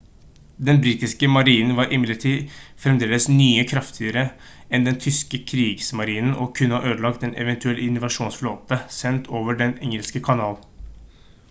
den britiske marinen var imidlertid fremdeles mye kraftigere enn den tyske «kriegsmarine» og kunne ha ødelagt en eventuell invasjonsflåte sendt over den engelske kanal